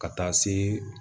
Ka taa se